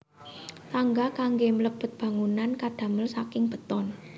Tangga kanggé mlebet bangunan kadamel saking beton